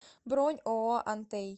бронь ооо антей